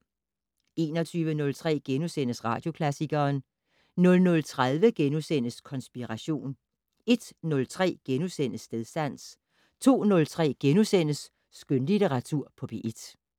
21:03: Radioklassikeren * 00:30: Konspiration * 01:03: Stedsans * 02:03: Skønlitteratur på P1 *